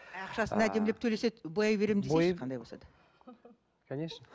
ақшасын әдемелеп төлесе бояй беремін десейші қандай болса да конечно